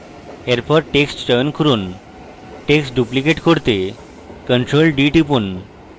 এরপর text চয়ন করুন text duplicate করতে ctrl + d টিপুন